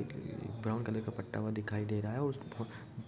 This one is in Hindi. एक ब्राउन कलर पत्ता दिखाई दे रहा है उस